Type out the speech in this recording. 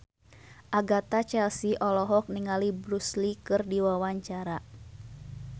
Agatha Chelsea olohok ningali Bruce Lee keur diwawancara